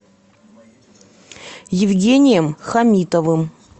евгением хамитовым